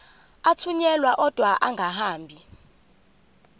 athunyelwa odwa angahambi